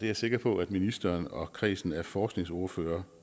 jeg sikker på at ministeren og kredsen af forskningsordførere